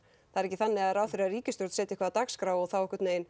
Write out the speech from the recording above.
það er ekki þannig að ráðherrar í ríkisstjórn setji eitthvað á dagskrá og þá